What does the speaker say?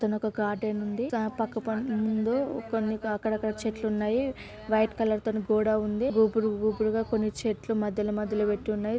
ఇక్కడొక గార్డెన్ ఉంది దాని పక్కన ముందు అక్కడక్కడా చెట్లు ఉన్నాయి వైట్ కలర్ తోటి గోడ ఉంది గుబురు గుబురుగా కొన్ని చెట్లు మాధ్యమధ్యన పెట్టున్నాయి.